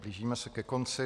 Blížíme se ke konci.